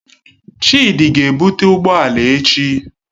Chidi ga-ebute ụgbọ ala echi.